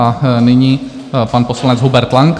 A nyní pan poslanec Hubert Lang.